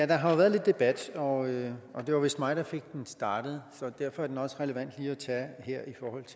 der har jo været lidt debat og det var vist mig der fik den startet så derfor er den også relevant lige at tage her